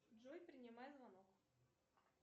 джой принимай звонок